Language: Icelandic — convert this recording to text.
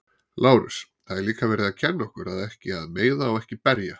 Lárus: Það er líka verið að kenna okkur að ekki að meiða og ekki berja.